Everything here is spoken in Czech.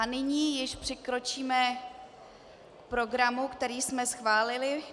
A nyní již přikročíme k programu, který jsme schválili.